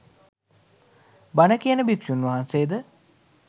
බණ කියන භික්‍ෂූන් වහන්සේ ද